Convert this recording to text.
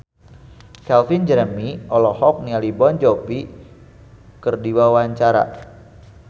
Calvin Jeremy olohok ningali Jon Bon Jovi keur diwawancara